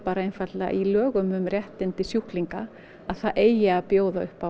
einfaldlega í lögum um réttindi sjúklinga að það eigi að bjóða upp á